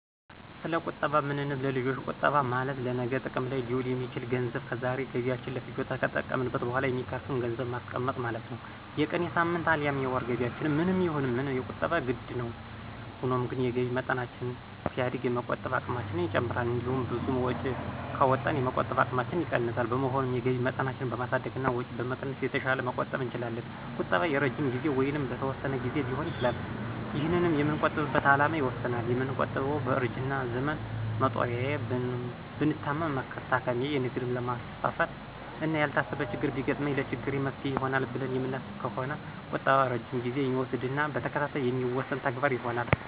ሰለቁጠባ ምንነት ለልጆች ቁጠባ ማለት ለነገ ጥቅም ላይ ሊውል የሚችል ገንዘብ ከዛሬ ገቢያችን ለፍጆታ ከተጠቀምንት በኋላ የሚተርፍን ገንዘብን ማስቀመጥ ማለት ነው። የቀን፣ የሳምንት፣ አልያም የወር ገቢያችን ምንም ይሁን ምን ቁጠባ የግድ ነው። ሆኖም ግን የገቢ መጠናችን ሲያድግ የመቆጠብ አቅማችን ይጨምራል። እንዲሁም ብዙ ወጪ ካወጣን የመቆጠብ አቅማችን ይቀንሳል። በመሆኑም የገቢ መጠናችንን በማሳደግና ወጪ በመቀነስ የተሻለ መቆጠብ እንችላለን። ቁጠባ የረጅም ጊዜ ወይንም በተወሰነ ግዜ ሊሆን ይችላል። ይህንንም የምንቆጥብበት አላማ ይወስነዋል። የምንቆጥበው በእርጅና ዘመን መጦሪያዬ፣ ብታመም መታከሚያየ፣ ንግድ ላማስፋፋት፣ እና ያልታሰበ ችግር ቢገጥመኝ ለችግሬ መፍትሔ ይሆናል ብለን የምናስብ ከሆነ ቁጠባም ረጅም ጊዜ የሚወስድና በተከታታይ የሚከናወን ተግባር ይሆናል።